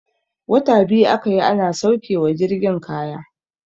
Wata biyu aka yi ana sauke wa jirgin kaya.